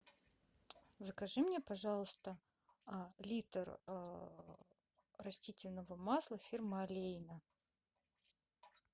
закажи мне пожалуйста литр растительного масла фирмы олейна